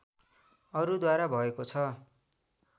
अरू द्वारा भएको छ